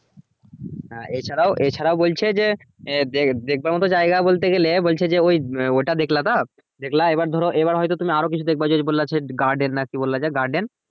হ্যাঁ এ ছাড়াও এ ছাড়াও বলছে যে দেখবার মতো জায়গা বলতে গেলে বলছে যে ওই ওটা দেখলে তো দেখলা এবার ধরো এবার হয়তো তুমি আরো কিছু দেখবা যদি বললো যে garden না কি বললো যে garden